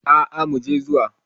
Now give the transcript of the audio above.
Aa muje zuwa.